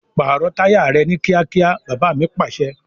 Pààrọ̀ táyà rẹ ni kíákíá! Baba mi Pàṣẹ.